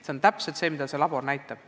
See on täpselt see, mida see labor näitab.